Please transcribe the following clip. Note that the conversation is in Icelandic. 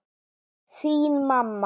Þín mamma.